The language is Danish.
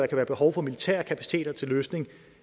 kan være behov for militære kapaciteter til løsning